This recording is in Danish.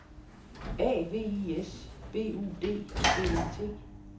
A V I S B U D D E T